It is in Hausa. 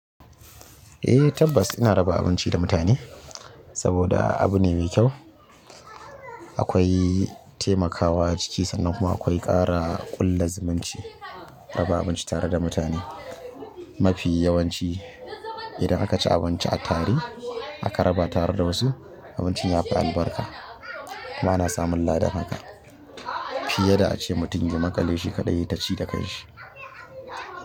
Eh tabbas ina raba abinci da mutane saboda abu ne mai kyau. Akwai temakawa ciki sannan kuma akwai ƙara ƙulla zumunci. Raba abinci tare da mutane mafi yawanci idan aka ci abinci a tari. Aka raba ta har da wasu abincin ya fi albarka. Ba na samun ladan haka fiye da ace mutum ki maƙale shi kaɗai ta ci da kan shi.